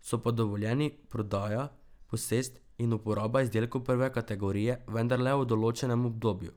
So pa dovoljeni prodaja, posest in uporaba izdelkov prve kategorije, vendar le v določenem obdobju.